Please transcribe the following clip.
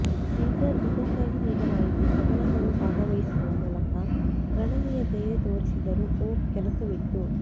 Caesar ಇದಕ್ಕಾಗಿ ನೀಡಲಾಯಿತು ಕದನಗಳು ಭಾಗವಹಿಸುವ ಮೂಲಕ ಗಣನೀಯ ಧೈರ್ಯ ತೋರಿಸಿದರು ಓಕ್ ಕೆಲಸವಿತ್ತು